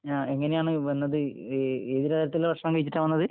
ങാ... എങ്ങനെയാണ് വന്നത്? ഈ ഏത് തരത്തിലുള്ള ഭക്ഷണം കഴിച്ചിട്ടാ വന്നത്?